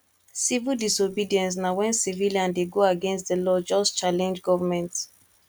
civil disobedience na when civilian de go against the law just challenge government